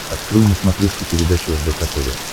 открой на смотрешке передачу рбк тв